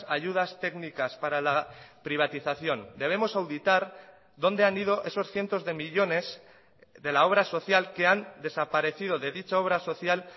ayudas técnicas para la privatización debemos auditar donde han ido esos cientos de millónes de la obra social que han desaparecido de dicha obra social